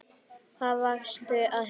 Hvað varstu að hugsa?